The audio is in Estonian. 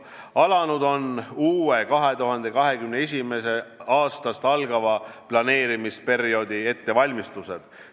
Alanud on uue, 2021. aastast algava planeerimisperioodi ettevalmistused.